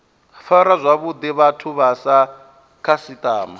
fara zwavhuḓi vhathu sa khasiṱama